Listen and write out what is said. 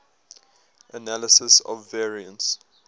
analysis of variance